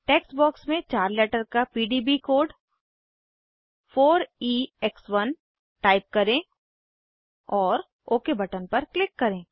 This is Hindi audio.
टेक्स्ट बॉक्स में चार लेटर का पीडीबी कोड 4ईएक्स1 टाइप करें और ओक बटन पर क्लिक करें